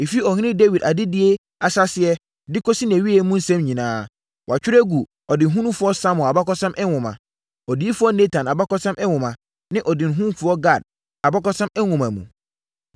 Ɛfiri Ɔhene Dawid adedie ahyɛaseɛ de kɔsi nʼawieeɛ mu nsɛm nyinaa, wɔatwerɛ agu ɔdehunufoɔ Samuel abakɔsɛm nwoma, odiyifoɔ Natan abakɔsɛm nwoma ne ɔdehunufoɔ Gad abakɔsɛm nwoma mu.